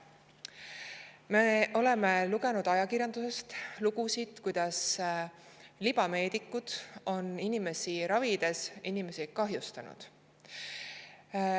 Me oleme ajakirjandusest lugenud lugusid selle kohta, kuidas libameedikud on inimesi ravides neid kahjustanud.